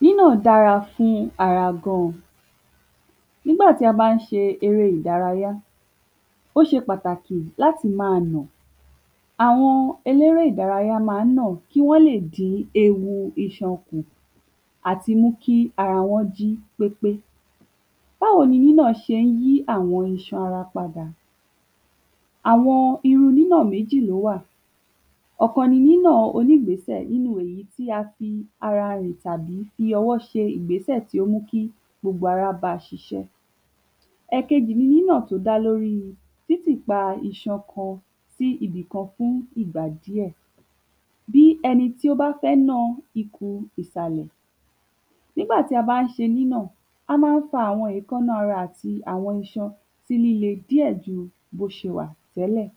Nína dára fún ara gan N'ígbà tí a bá ń ṣe eré ìdárayá, ó ṣe pàtàkì l'áti má a nà. Àwọn elédárayá má ń nà kí wọ́n lè dín ewu kù àti mú kí ara wọ́n jí pépé Báwo ni nínà ṣé ń yí àwọn iṣan ara padà? Àwọn irú nínà méjì l'ó wà. Ọ̀kan ni nínà onígbésẹ̀ inú èyí tí a fi ara rìn tàbí fi ọwọ́ ṣe ìgbésẹ̀ tí ó mú kí gbogbo ara ba ṣiṣẹ́. Ẹ̀kejì ni nínà t’ó dá l'órí títì pa iṣan kan si ibì kkan fún ìgbà díẹ̀ bí ẹni tí ó bá fẹ́ na ikùn ìsàlẹ̀. N'ígbà tí a bá ń ṣe nínà, a má ń fa èékáná ara àti àwọn iṣan sí líle díẹ̀ ju b'ó ṣe wà tẹ́lẹ̀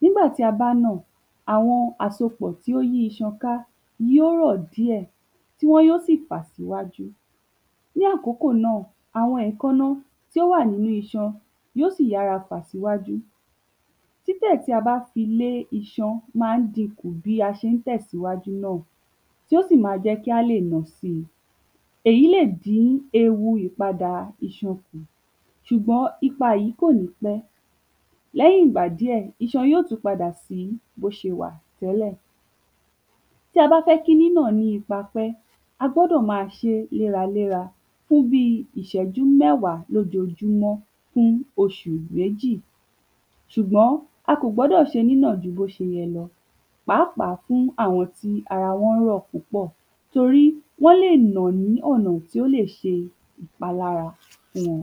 N'ígbà tí a bá nà, àwọn àsopọ̀ tí ó yí iṣan ká yí ó rọ̀ díẹ̀ Wọ́n yó sì fà s'íwájú. Ní àkókò náà, àwọn èékáná tí ó wà n'ínú iṣan yí ó sì yára fà s'íwájú. Títẹ̀ tí a bá fi lé iṣan ma ń dinkù bí a ṣe ń tẹ̀ s'íwájú náà tí ó sì ma jẹ́ kí a lè nà si Èyí lè dín ewu ìpadà iṣan. ṣùgbọ́n ipa yìí kò ní pẹ́ L'ẹ́yìn ìgbà, díẹ̀ iṣan yó tú padà sí b'ó ṣe wà tẹ́lẹ̀. Tí a bá fẹ́ kí nínà ní ipa pẹ́, a gbọ́dọ̀ ma ṣé léra léra. fún bí i ìṣẹ́jú mẹ́wá l'ójojúmọ́ oṣù méjì Ṣùgbọ́n a kò gbọ́dọ̀ ṣe nínà ju b’ó ṣe yẹ lọ pàápàá fún àwọn tí ara wọ́n rọ̀ púpọ̀ Torí wọ́n lè nà ní ọ̀nà t'ó lè ṣe ìpalára fún wọn.